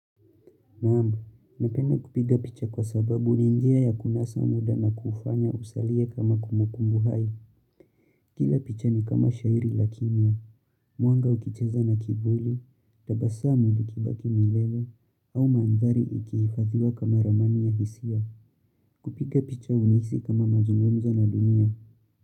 Naam, napenda kupiga picha kwa sababu ni njia ya kunasa muda na kufanya usalie kama kumbukumbu hai. Kila picha ni kama shairi la kimya, mwanga ukicheza na kivuli, tabasamu ikibaki milele, au mandhari ikiifathiwa kama ramani ya hisia. Kupiga picha hunisi kama mazungumza na dunia.